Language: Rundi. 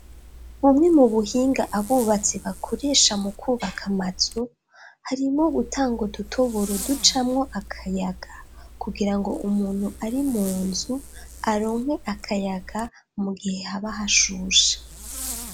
bumwe mu buhinga abubatsi bakoresha mu kubaka mazu harimwo gutanga udutoboro ducamwo akayaga kugira ngo umuntu ari munzu aronke akayaga mu gihe habahashusha